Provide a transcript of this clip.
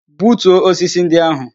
Butuo osisi ndị ahụ!